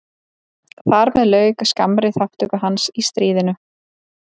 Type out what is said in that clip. Þar með lauk skammri þátttöku hans í stríðinu.